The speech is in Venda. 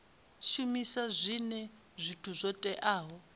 shumisa zwinwe zwithu zwo teaho